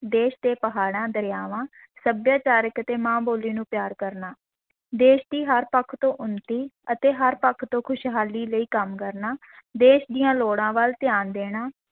ਦੇਸ਼ ਦੇ ਪਹਾੜਾਂ ਦਰਿਆਵਾਂ, ਸੱਭਿਆਚਾਰਕ ਅਤੇ ਮਾਂ-ਬੋਲੀ ਨੂੰ ਪਿਆਰ ਕਰਨਾ, ਦੇਸ਼ ਦੀ ਹਰ ਪੱਖ ਤੋਂ ਉੱਨਤੀ ਅਤੇ ਹਰ ਪੱਖ ਤੋਂ ਖ਼ੁਸ਼ਹਾਲੀ ਲਈ ਕੰਮ ਕਰਨਾ, ਦੇਸ਼ ਦੀਆਂ ਲੋੜਾਂ ਵਲ ਧਿਆਨ ਦੇਣਾ